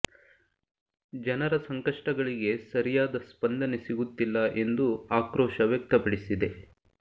ಜನರ ಕಷ್ಟಗಳಿಗೆ ಸರಿಯಾದ ಸ್ಪಂದನೆ ಸಿಗುತ್ತಿಲ್ಲ ಎಂದು ಆಕ್ರೋಶ ವ್ಯಕ್ತಪಡಿಸಿದೆ